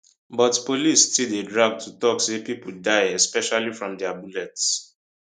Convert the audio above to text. but police still dey drag to tok say pipo die especially from dia bullets